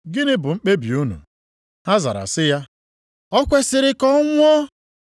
Gịnị bụ mkpebi unu?” Ha zara sị ya, “O kwesiri ka ọ nwụọ!”